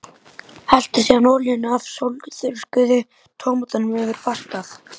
Helltu síðan olíunni af sólþurrkuðu tómötunum yfir pastað.